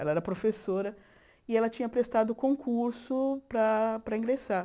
Ela era professora e ela tinha prestado concurso para para ingressar.